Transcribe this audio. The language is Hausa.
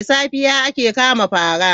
Da safiya ake kama paraa.